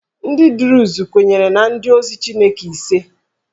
Ndị Druze kwenyere na ndị ozi Chineke ise